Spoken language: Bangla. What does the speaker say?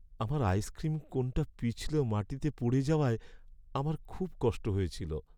আমার আইসক্রিম কোনটা পিছলে মাটিতে পড়ে যাওয়ায় আমার খুব কষ্ট হয়েছিল।